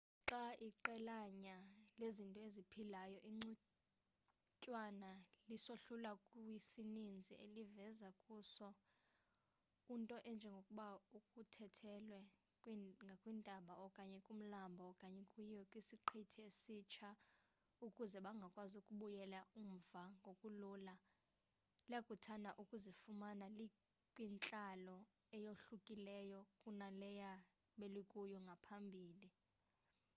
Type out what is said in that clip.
xa iqelanyana lezinto eziphilayo igcuntswana lisohlulwa kwisininzi elivela kuso unto enjengokuba kuthuthelwe ngakwintaba okanye kumlambo okanye kuyiwe kwisiqithi esitsha ukuze bangakwazi ukubuyela umva ngokulula liyakuthanda ukuzifumana likwintlalo eyohlukileyo kunaleyo belikuyo ngaphambili